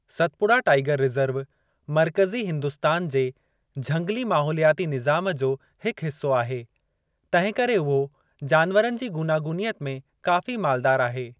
सतपुड़ा tiger reserve मर्कज़ी हिंदुस्तान जे झंगली माहौलियाती निज़ामु जो हिकु हिस्सो आहे, तंहिंकरे उहो जानवरनि जी गूनागूनियत में काफ़ी मालदार आहे।